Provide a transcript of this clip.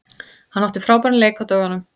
Hann átti frábæran leik á dögunum.